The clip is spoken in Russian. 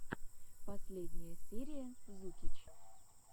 последняя серия зукич